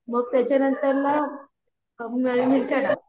मग त्याचं नंतर मग मिरच्या टाक